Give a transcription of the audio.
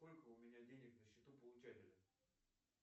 сколько у меня денег на счету получателя